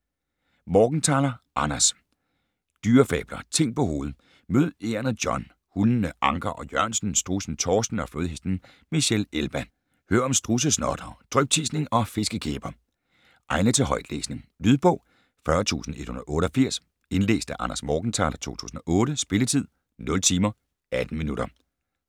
Morgenthaler, Anders: Dyrefabler - ting på hovedet Mød egernet John, hundene Anker og Jørgensen, strudsen Torsten og flodhesten Michelle Elba. Hør om strudsesnottere, dryptisning og fiskekæber! Egnet til højtlæsning. Lydbog 40188 Indlæst af Anders Morgenthaler, 2008. Spilletid: 0 timer, 18 minutter.